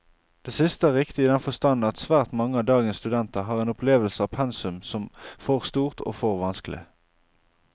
Det siste er riktig i den forstand at svært mange av dagens studenter har en opplevelse av pensum som for stort og for vanskelig.